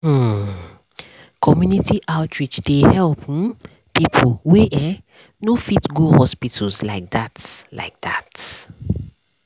hmm- um community outreach dey help um people wey eh no fit go hospital like that like that.